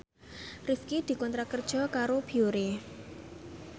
Rifqi dikontrak kerja karo Biore